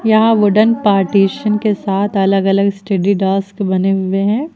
यहां wooden partition के साथ अलग अलग स्टडी डास्क बने हुए हैं।